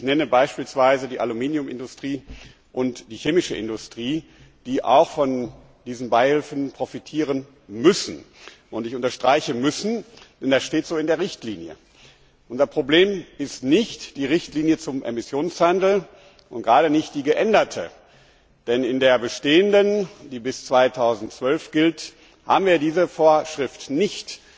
Ich nenne beispielsweise die Aluminiumindustrie und die chemische Industrie, die auch von diesen Beihilfen profitieren müssen. Ich unterstreiche müssen, denn das steht so in der Richtlinie. Unser Problem ist nicht die Richtlinie zum Emissionshandel und gerade nicht die geänderte, denn in der bestehenden, die bis 2012 gilt, haben wir diese Vorschrift nicht.